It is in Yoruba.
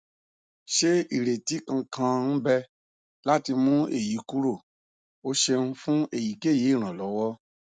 se ireti kankan n be lati mu eyi kuro o ṣeun fun eyikeyi iranlọwọ